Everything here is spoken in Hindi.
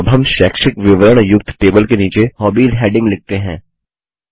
अब हम शैक्षिक विवरण युक्त टेबल के नीचे हॉबीज हैडिंग लिखते हैं